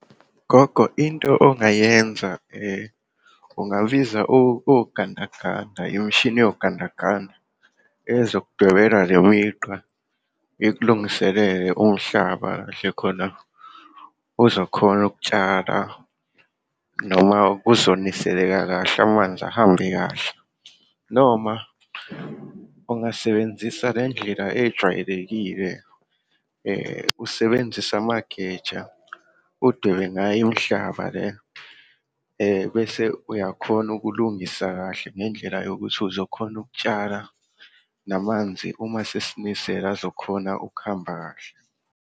Gogo, into ongayenza ungabiza ogandaganda, imishini yogandaganda ezokudwebela lemigqa ikulungiselele umhlaba kahle, khona uzokhona ukutshala noma kuzoniseleka kahle, amanzi ahambe kahle. Noma ungasebenzisa lendlela ejwayelekile usebenzise amageja, udwebe ngayo imihlaba le, bese uyakhona ukulungisa kahle ngendlela yokuthi uzokhona ukutshala, namanzi uma sesinisela azokhona ukuhamba kahle.